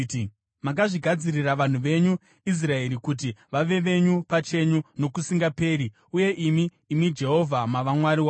Makazvigadzirira vanhu venyu Israeri kuti vave venyu pachenyu nokusingaperi, uye imi, imi Jehovha, mava Mwari wavo.